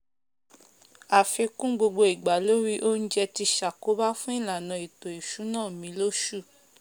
àfikún gbogbo igbà lórí oúnjẹ ti sàkóbá fún ìlànà ètò ìsúná mi lósù